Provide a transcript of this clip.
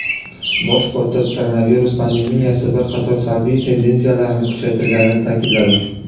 Bosh kotib koronavirus pandemiyasi bir qator salbiy tendensiyalarni kuchaytirganini ta’kidladi.